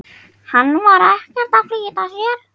Hann var ekkert að flýta sér.